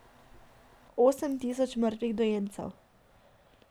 Osem tisoč mrtvih dojencev.